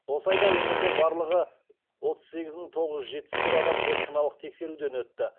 осы айда өңірде барлығы отыз сегіз мың тоғыз жүз жетпіс бір адам зертханалық тексеруден өтті